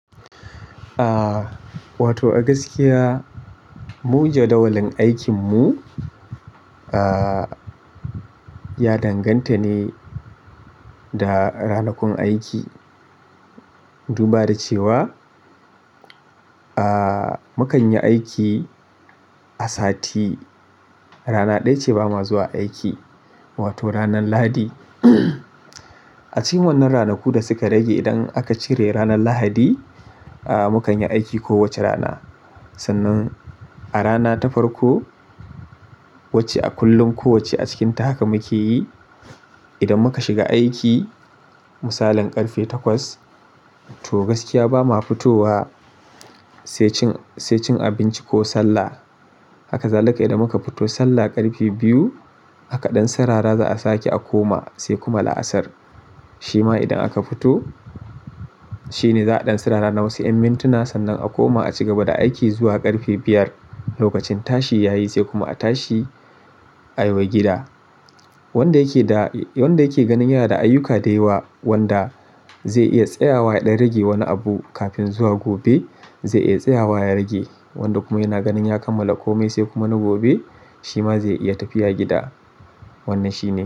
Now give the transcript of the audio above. Ah, wato a gaskiya mu jadawalin aikin mu ah, ya danganta ne da ranakun aiki. Duba da cewa ah, mu kan yi aiki a sati rana ɗaya ce ba ma zuwa aiki, wato ranar Lahadi. A cikin wannan ranaku da suka rage idan aka cire ranar Lahadi, ah mu kan yi aiki kowace rana. Sannan a rana ta farko wacce a kullum kowacce a cikinta haka mu ke yi. Idan muka shiga aiki misalin ƙarfe takwas to gaskiya ba ma fitowa sai cin, sai cin abinci ko sallah. Ha kazalika idan muka fito sallah ƙarfe biyu, aka ɗan sarara za a sake a koma sai kuma la'asar. Shi ma idan aka fito shine za'a ɗan sirara na wasu 'yan mintuna sannan a koma a ci gaba da aiki zuwa ƙarfe biyar. Lokacin tashi ya yi sai kuma a tashi a yiwa gida. Wanda yake da, wanda yake ganin yana da ayyuka dayawa wanda zai iya tsayawa ya ɗan rage wani abu kafin zuwa gobe zai iya tsayawa ya rage. Wanda kuma yana ganin ya kammala komai sai kuma na gobe shi ma zai iya tafiya gida. Wannan shi ne.